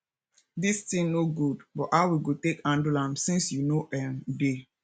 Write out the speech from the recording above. dis thing no good but how we go take handle am since you no um dey